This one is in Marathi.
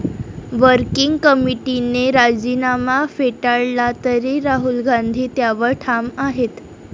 वर्किंग कमिटीने राजीनामा फेटाळला तरी राहुल गांधी त्यावर ठाम आहेत.